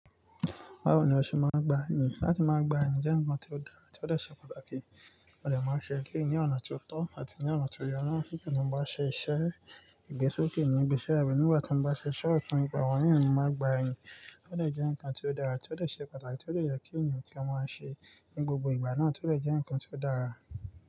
Báwo ni o ṣe máa ń gba ẹyin? Látí máa gba ẹyin jẹ́ ǹkan tí ó dára tí ó lè ṣe pàtàkì, ó dè máa ṣe é kí ní ọ̀nà tí ó tọ́ àti ní ọ̀nà tí ó ye. Nígbà tí mo bá ṣe iṣẹ́ ìgbésókè ní ibi iṣẹ́ mi, nígbà tí mo bá ṣe iṣẹ́ ọ̀tún, ìgbà wọ̀nyí ni mo máa gba ẹyin. Ó de jẹ́ ǹkan tí ó dára, tí ó de ṣe pàtàkì, tí ó de ye kí èniyàn kí ó máa ṣe ní gbogbo ìgbà náà, tí ó dè jẹ́ ǹkan tí ó dára.